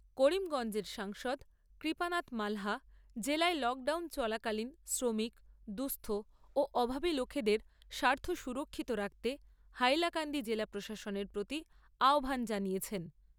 করিমগঞ্জের সাংসদ কৃপানাথ মালহা জেলায় লকডাউন চলাকালীন শ্রমিক, দুঃস্থ ও অভাবী লোকেদের স্বার্থ সুরক্ষিত রাখতে হাইলাকান্দি জেলা প্রশাসনের প্রতি আহ্বান জানিয়েছেন।